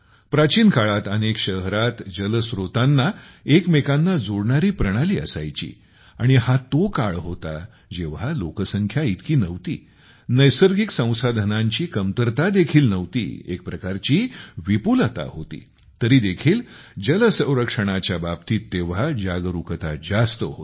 प्राचीन काळात अनेक शहरात जलस्रोतांना एकमेकांना जोडणारी प्रणाली असायची आणि हा तो काळ होता जेव्हा लोकसंख्या इतकी नव्हती नैसर्गिक संसाधनांची कमतरता देखील नव्हती एक प्रकारची विपुलता होती तरी देखील जलसंरक्षणाच्या बाबतीत तेव्हा जागरूकता जास्त होती